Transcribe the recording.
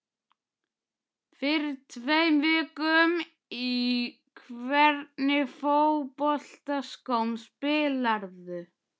Fyrir tveim vikum Í hvernig fótboltaskóm spilarðu?